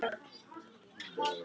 Var í samskiptum við þýska öfgamenn